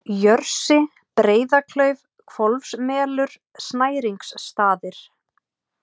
Jörsi, Breiðaklauf, Hvolfsmelur, Snæringsstaðir